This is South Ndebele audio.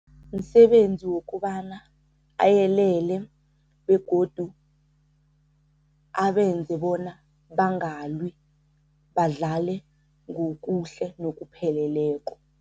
Msebenzi wokobana ayelele begodu abenze bona bangalwi badlale ngokuhle nokupheleleko.